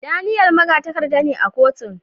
Daniel magatakarda ne a kotun.